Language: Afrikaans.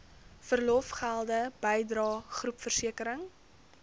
verlofgelde bydrae groepversekering